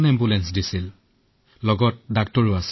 আমাক ছয়োজনকে পৃথক পৃথক কোঠালি প্ৰদান কৰিলে